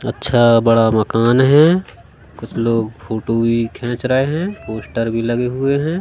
अच्छा बड़ा मकान है कुछ लोग फोटो भी खींच रहे हैं पोस्टर भी लगे हुए हैं।